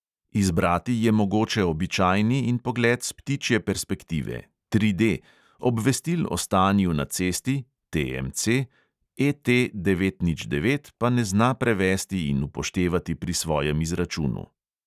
Izbrati je mogoče običajni in pogled s ptičje perspektive (tri D), obvestil o stanju na cesti ET devet nič devet pa ne zna prevesti in upoštevati pri svojem izračunu.